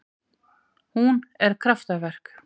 Hún er kraftaverk